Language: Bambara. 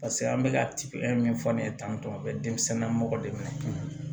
Paseke an bɛ ka min fɔ ne ye tan tɔ a bɛ denmisɛnnin na mɔgɔ de minɛ ten